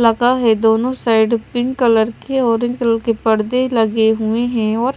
लगा है दोनों साइड पिंक कलर के ऑरेंज कलर के परदे लगे हुए हैं और